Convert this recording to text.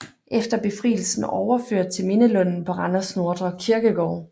Efter befrielsen overført til Mindelunden på Randers Nordre Kirkegård